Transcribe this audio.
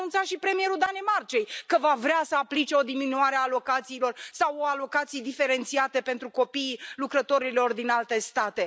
Dar ne a anunțat și premierul Danemarcei că va vrea să aplice o diminuare a alocațiilor sau alocații diferențiate pentru copiii lucrătorilor din alte state.